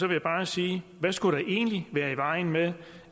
jeg bare sige hvad skulle der egentlig være i vejen med